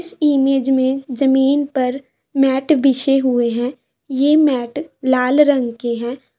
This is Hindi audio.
इस इमेज में जमीन पर मैट बिछे हुए हैं ये मैट लाल रंग के हैं।